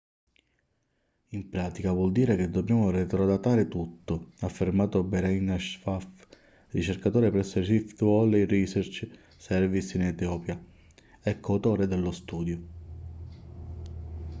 in pratica vuol dire che dobbiamo retrodatare tutto ha affermato berhane asfaw ricercatore presso il rift valley research service in etiopia e co-autore dello studio